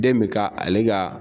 Den bɛ ka ale ka.